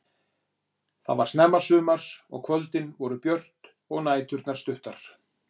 Þetta var snemma sumars og kvöldin voru björt og næturnar stuttar.